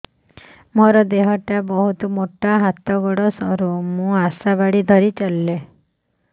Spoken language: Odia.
ମୋର ଦେହ ଟା ବହୁତ ମୋଟା ହାତ ଗୋଡ଼ ସରୁ ମୁ ଆଶା ବାଡ଼ି ଧରି ଚାଲେ